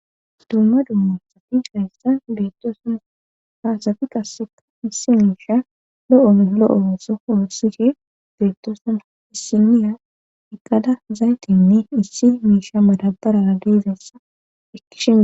Dumma dumma sati hayssa beettosuna haasati qasseka issi miisha lo'o lo'o so hoossihe beettosuma issiniya eqqada zaytinne issi miisha madabarara deezessa ekkishime.